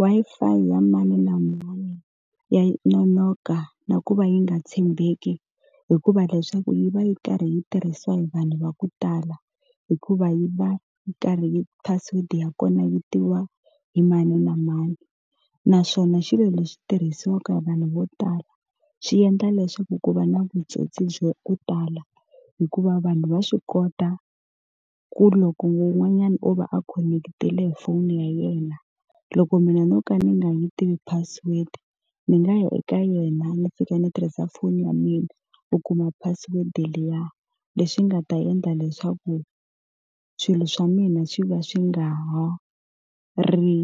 Wi-Fi ya mani na mani ya nonoka na ku va yi nga tshembeki hikuva leswaku yi va yi karhi yi tirhisiwa hi vanhu va ku tala, hikuva yi va yi karhi yi password-i ya kona yi tiviwa hi mani na mani. Naswona xilo lexi tirhisiwaka hi vanhu vo tala, xi endla leswaku ku va na vutsotsi bya ku tala. Hikuva vanhu va swi kota ku loko wun'wanyana o va a khonekitile hi foni ya yena, loko mina no ka ni nga yi tivi password ni nga ya eka yena ni fika ni tirhisa foni ya mina ku kuma password liya. Leswi nga ta endla leswaku swilo swa mina swi va swi swi nga ri